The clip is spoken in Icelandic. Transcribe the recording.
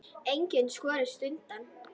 Enginn skorist undan.